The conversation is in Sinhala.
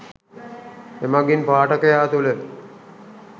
එමගින් පාඨකයා තුළ